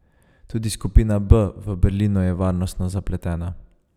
Tudi skupina B v Berlinu je varnostno zapletena.